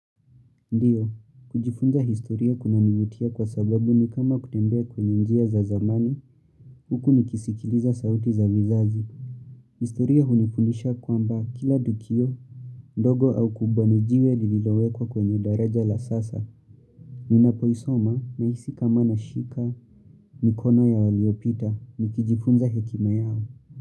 Ndio, kujifunza historia kuna nivutia kwa sababu ni kama kutembea kwenye njia za zamani, huku ni kisikiliza sauti za vizazi. Historia hunifundisha kwamba kila dukio, ndogo au kubwa nijiwe lililowekwa kwenye daraja la sasa. Nina poisoma na isi kamana shika, mikono ya waliopita, nikijifunza hekima yao.